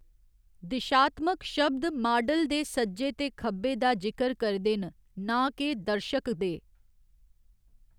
दिशात्मक शब्द माडल दे सज्जे ते खब्बे दा जिकर करदे न, नां के दर्शक दे।